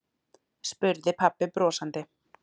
spurði pabbi brosandi.